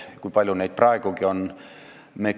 Kui palju neid praegugi on?